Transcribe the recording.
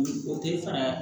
O tɛ fara